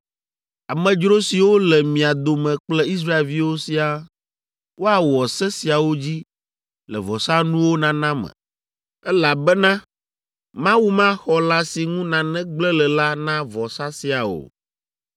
Amedzro siwo le mia dome kple Israelviwo siaa woawɔ se siawo dzi le vɔsanuwo nana me, elabena Mawu maxɔ lã si ŋu nane gblẽ le la na vɔsa sia o.’ ”